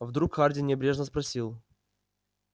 вдруг хардин небрежно спросил